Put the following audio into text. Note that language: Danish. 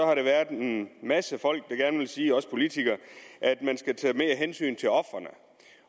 har der været en masse folk der gerne vil sige til os politikere at man skal tage mere hensyn til ofrene